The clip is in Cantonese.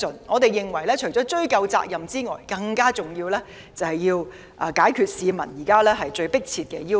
我們認為，除了追究責任外，更重要的是回應市民最迫切的要求。